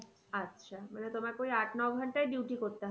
আচ্ছা মানে তোমাকে ওই আট ন ঘন্টায় duty করতে হয়।